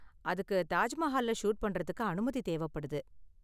அதுக்கு தாஜ் மஹால்ல ஷூட் பண்றதுக்கு அனுமதி தேவப்படுது.